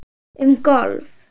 Um golf